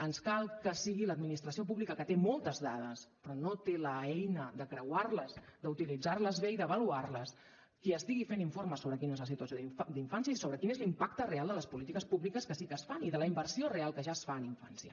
ens cal que sigui l’administració pública que té moltes dades però no té l’eina de creuar les d’utilitzar les bé i d’avaluar les qui estigui fent informes sobre quina és la situació d’infància i sobre quin és l’impacte real de les polítiques públiques que sí que es fan i de la inversió real que ja es fa en infància